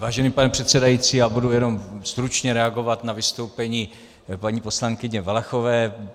Vážený pane předsedající, já budu jenom stručně reagovat na vystoupení paní poslankyně Valachové.